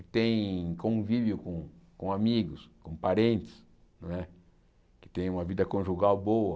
que tem convívio com com amigos, com parentes não é, que tem uma vida conjugal boa,